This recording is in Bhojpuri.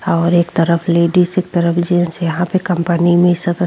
और एक तरफ लेडीज एक तरफ जेंट्स यहाँ पे कंपनी में सब --